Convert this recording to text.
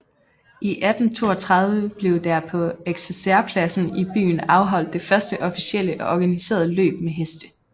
I 1832 blev der på Eksercerpladsen i byen afholdt det første officielle og organiserede løb med heste